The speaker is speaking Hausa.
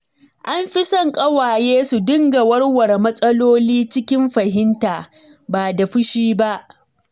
An fi son ƙawaye su dinga warware matsaloli cikin fahimta, ba da fushi ba